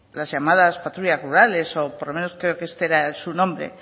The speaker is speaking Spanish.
las llamadas patrullas rurales o por lo menos creo que este era su nombre